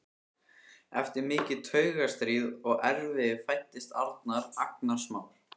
Eftir mikið taugastríð og erfiði fæddist Arnar, agnarsmár.